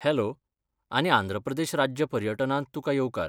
Hello आनी आंध्र प्रदेश राज्य पर्यटनांत तुकां येवकार.